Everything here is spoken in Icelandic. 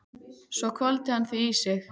Svo hvolfdi hann því í sig.